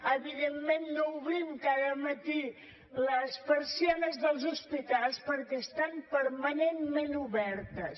evidentment no obrim cada matí les persianes dels hospitals perquè estan permanentment obertes